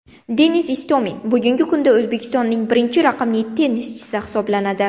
Denis Istomin bugungi kunda O‘zbekistonning birinchi raqamli tennischisi hisoblanadi.